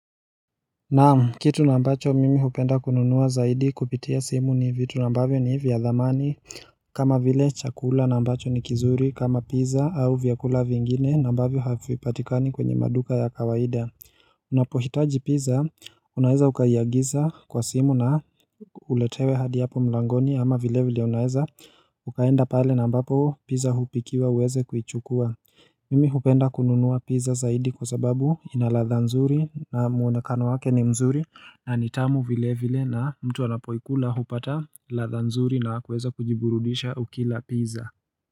Naam kitu ambacho mimi hupenda kununua zaidi kupitia simu ni vitu ambavyo ni vya dhamani kama vile chakula na ambacho ni kizuri kama pizza au vyakula vingine na ambavyo havipatikani kwenye maduka ya kawaida unapohitaji pizza unaeza ukaiagiza kwa simu na uletewe hadi hapo mlangoni ama vile vile unaeza ukaenda pale na ambapo pizza hupikiwa uweze kuichukua Mimi hupenda kununua pizza zaidi kwa sababu inaladha nzuri na muonekano wake ni mzuri na ni tamu vile vile na mtu anapoikula hupata ladha nzuri na kuweza kujiburudisha ukila pizza.